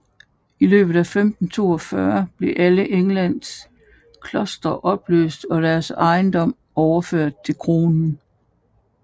I løbet af 1542 blev alle Englands klostre opløst og deres ejendom overført til kronen